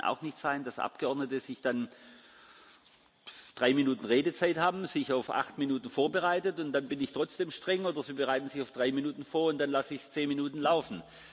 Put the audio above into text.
Es kann auch nicht sein, dass Abgeordnete drei Minuten Redezeit haben, sich auf acht Minuten vorbereiten und dann bin ich trotzdem streng, oder sie bereiten sich auf drei Minuten vor und dann lasse ich es zehn Minuten laufen.